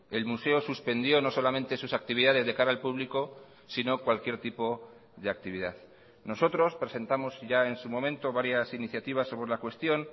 el museo suspendió no solamente sus actividades de cara al público sino cualquier tipo de actividad nosotros presentamos ya en su momento varias iniciativas sobre la cuestión